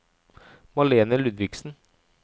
Malene Ludvigsen